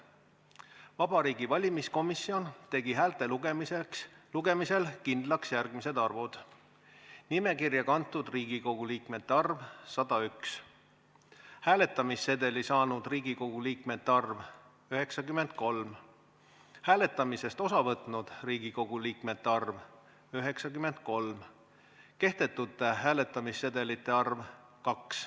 Vabariigi Valimiskomisjon tegi häälte lugemisel kindlaks järgmised arvud: nimekirja kantud Riigikogu liikmete arv – 101, hääletamissedeli saanud Riigikogu liikmete arv – 93, hääletamisest osa võtnud Riigikogu liikmete arv – 93, kehtetute hääletamissedelite arv – 2.